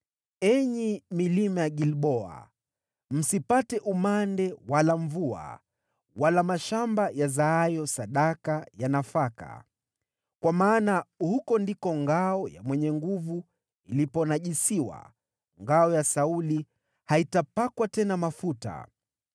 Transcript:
“Enyi milima ya Gilboa, msipate umande wala mvua, wala mashamba yazaayo sadaka ya nafaka. Kwa maana huko ndiko ngao ya mwenye nguvu iliponajisiwa, ngao ya Sauli haitapakwa tena mafuta.